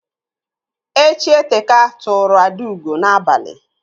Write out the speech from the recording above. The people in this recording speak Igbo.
Echi eteka tụrụ Adaugo n'abalị.